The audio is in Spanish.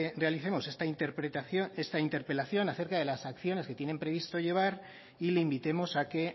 realicemos esta interpelación acerca de las acciones que tienen previsto llevar y le invitemos a que